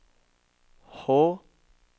H